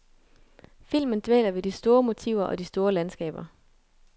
Filmen dvæler ved de store motiver og de store landskaber.